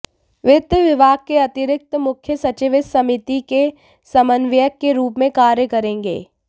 वित्त विभाग के अतिरिक्त मुख्य सचिव इस समिति के समन्वयक के रूप में कार्य करेंगे